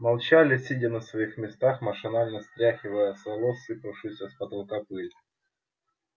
молчали сидя на своих местах машинально стряхивая с волос сыпавшуюся с потолка пыль